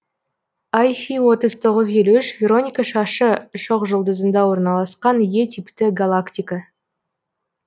іс отыз тоғыз елу үш вероника шашы шоқжұлдызында орналасқан е типті галактика